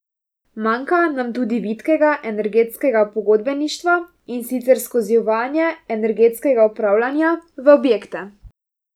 Manjka nam tudi vitkega energetskega pogodbeništva, in sicer skozi uvajanje energetskega upravljanja v objekte.